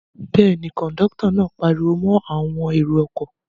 Bẹ́ẹ̀ ni, kọ̀ńdọ́tọ̀ náà pariwo mọ́ àwọn èrò-ọkọ̀.